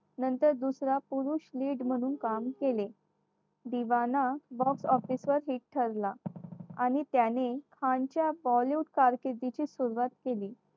नंतर दुसरं पुरुष lead म्हणून काम केले. दिवाना मग अविश्वासिक ठरला आणि त्याने खानच्या bollywood कारकीर्दीची सुरुवात केली.